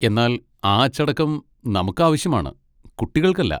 എന്നാൽ ആ അച്ചടക്കം നമുക്കാവശ്യമാണ്, കുട്ടികൾക്കല്ല.